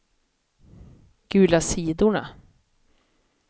gula sidorna